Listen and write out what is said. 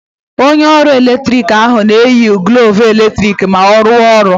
Onye ọrụ eletrik ahụ ga-eyi glọvụ eletrik ma ọ na-arụ ọrụ.